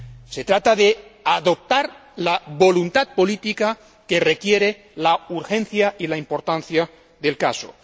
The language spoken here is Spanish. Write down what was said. Se trata de adoptar la voluntad política que requiere la urgencia y la importancia del caso.